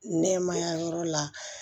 Nɛmaya yɔrɔ la